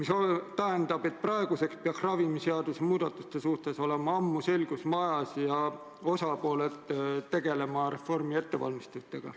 See tähendab, et ravimiseaduse muudatuste suhtes peaks ammu olema selgus majas ja osapooled peaksid tegelema reformi ettevalmistustega.